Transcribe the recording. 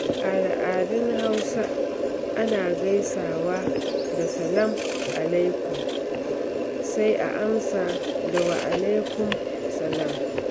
A al’adun Hausa, ana gaisawa da "Salam Alaikum," sai a amsa da "Wa Alaikum Salam."